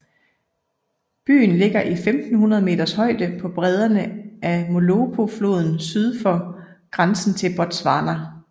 Byen ligger i 1500 meters højde på bredderne af Molopofloden syd for grænsen til Botswana